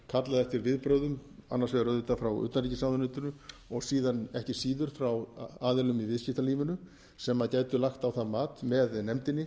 kallað eftir viðbrögðum annars vegar auðvitað frá utanríkisráðuneytinu og síðan ekki síður frá aðilum í viðskiptalífinu sem gætu lagt á að mat með nefndinni